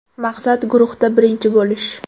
Maqsad guruhda birinchi bo‘lish.